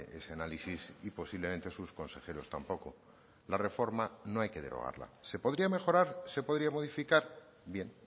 ese análisis y posiblemente sus consejeros tampoco la reforma no hay que derogarla se podría mejorar se podría modificar bien